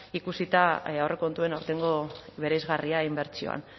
ikusita aurrekontuen aurtengo bereizgarria inbertsioan